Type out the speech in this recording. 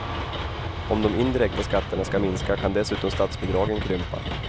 Om de indirekta skatterna ska minska kan dessutom statsbidragen krympa.